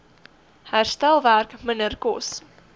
herstelwerk minder kos